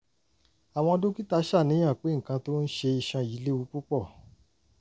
àwọn dókítà ń ṣàníyàn pé nǹkan tó ń ṣe iṣan yìí léwu púpọ̀